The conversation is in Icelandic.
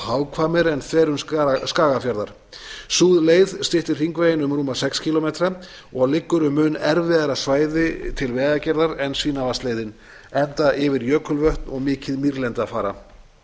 hagkvæmari en þverun skagafjarðar sú leið styttir hringveginn um rúma sex kílómetra og liggur um mun erfiðara svæði til vegagerðar en svínavatnsleiðin enda yfir jökulvötn og mikið mýrlendi að fara